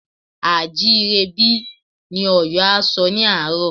A à jí ire bí? Ni Ọ̀yọ́ a sọ ní àárọ̀